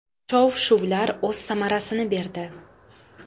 Shov-shuvlar o‘z samarasini berdi.